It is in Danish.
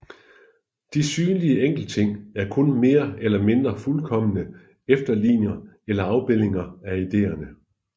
De synlige enkeltting er kun mere eller mindre fuldkomne efterligninger eller afbildninger af ideerne